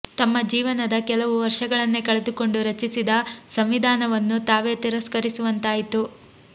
ತಮ್ಮ ಜೀವನದ ಕೆಲವು ವರ್ಷಗಳನ್ನೇ ಕಳೆದುಕೊಂಡು ರಚಿಸಿದ ಸಂವಿಂಧಾನವನ್ನು ತಾವೇ ತಿರಸ್ಕರಿಸುವಂತಾಯಿತು